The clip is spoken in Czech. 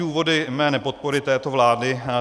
Důvody mé nepodpory této vlády.